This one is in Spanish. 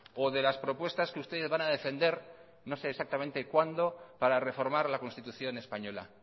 o de las propuestas que ustedes van a defender no sé exactamente cuándo para reformar la constitución española